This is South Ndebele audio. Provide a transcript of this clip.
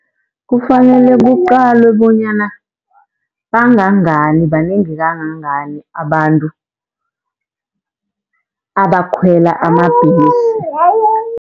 Kufanele kuqalwe bonyana bangangani, banengi kangangani abantu abakhwela amabhesi.